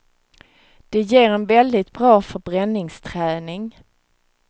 Det ger en väldigt bra förbränningsträning.